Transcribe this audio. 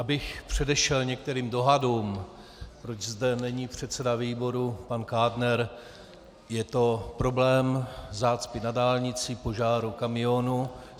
Abych předešel některým dohadům, proč zde není předseda výboru pan Kádner, je to problém zácpy na dálnici, požáru kamionu.